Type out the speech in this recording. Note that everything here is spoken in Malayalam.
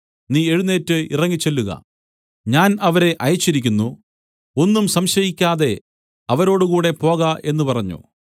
നീ എഴുന്നേറ്റ് ഇറങ്ങിച്ചെല്ലുക ഞാൻ അവരെ അയച്ചിരിക്കുന്നു ഒന്നും സംശയിക്കാതെ അവരോടുകൂടെ പോക എന്നു പറഞ്ഞു